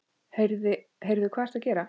Heyrðu. hvað ertu að gera?